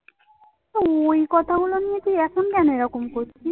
ওই কথাগুলো নিয়ে তুই এখন কেন এরকম করছিস?